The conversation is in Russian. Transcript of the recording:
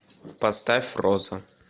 поставь роза